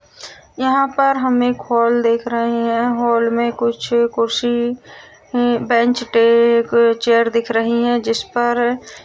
यहां पर हम एक हॉल देख रहे हैं | हॉल में कुछ कुर्सी बेंच पे एक चेयर दिख रही हैं जिस पर --